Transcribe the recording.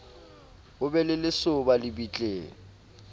ho be le lesoba lebitleng